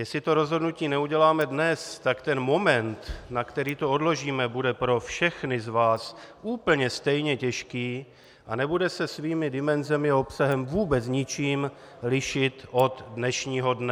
Jestli to rozhodnutí neuděláme dnes, tak ten moment, na který to odložíme, bude pro všechny z vás úplně stejně těžký a nebude se svými dimenzemi a obsahem vůbec ničím lišit od dnešního dne.